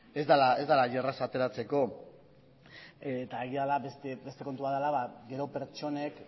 ez dela hain erraza ateratzeko eta egia da beste kontu bat dela gero pertsonek